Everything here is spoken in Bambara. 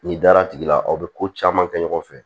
N'i dara tigi la aw bɛ ko caman kɛ ɲɔgɔn fɛ